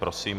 Prosím.